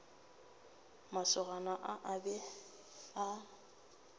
masogana a a be a